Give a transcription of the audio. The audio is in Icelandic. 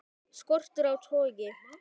Skortur á togi